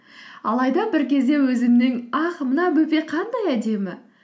алайда бір кезде өзімнің ах мына бөпе қандай әдемі